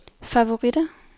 favoritter